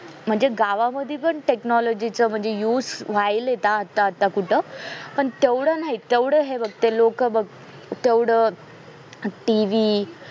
म्हणजे गावामध्ये पण technology चा use व्हायलेय आता आता कुठं पण तेवढं नाही तेवढं ते लोक बघ तेवढं TV